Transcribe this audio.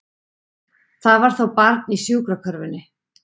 Það var þá barn í sjúkrakörfunni!